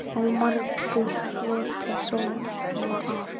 Og margur hlotið sóma af.